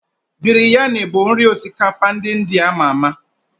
Biryani bụ nri osikapa ndị India ama ama